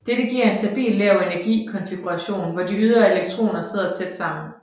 Dette giver en stabil lav energi konfiguration hvor de ydre elektroner sidder tæt sammen